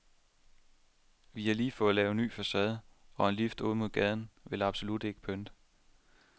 Vi har lige fået lavet ny facade, og en lift ud mod gaden vil absolut ikke pynte.